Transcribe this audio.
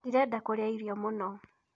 Ndĩrenda kũrĩa irio mũno.